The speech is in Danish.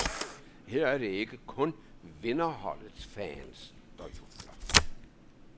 Her er det ikke kun vinderholdets fans, der jubler.